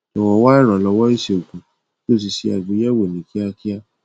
jọwọ wá ìrànlọwọ ìṣègùn kí o sì ṣe àgbéyẹwò ní kíákíá